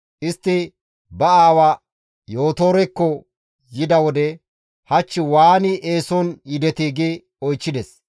Istti ba aawa Yootorekko biin izi, «Hach waani eeson yidetii?» gi oychchides.